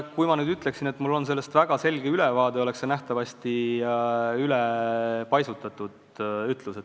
Kui ma ütleksin, et mul on sellest väga selge ülevaade, siis oleks see ülepaisutatud ütlus.